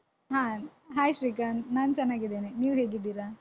ಹ Hai ಶ್ರೀಕಾಂತ್ ನಾನ್ ಚೆನ್ನಾಗಿದ್ದೇನೆ ನೀವ್ ಹೇಗಿದ್ದೀರಾ?